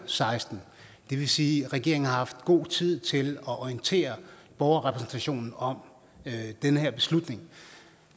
seksten det vil sige at regeringen har god tid til at orientere borgerrepræsentationen om den her beslutning